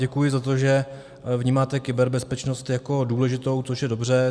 Děkuji za to, že vnímáte kyberbezpečnost jako důležitou, což je dobře.